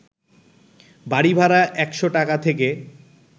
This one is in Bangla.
বাড়িভাড়া ১০০ টাকা থেকে